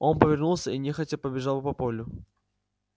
он повернулся и нехотя побежал по полю